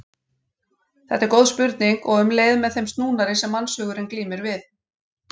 Þetta er góð spurning og um leið með þeim snúnari sem mannshugurinn glímir við.